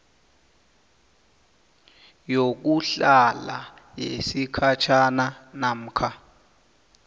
yokuhlala yesikhatjhana namkha